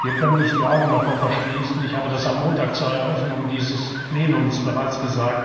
Wir können nicht die Augen davor verschließen ich habe das am Montag zur Eröffnung dieses Plenums bereits gesagt